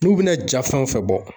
N'u bɛna ja fɛn o fɛn bɔ